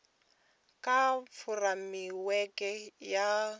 kha fureimiweke ya muvhuso ya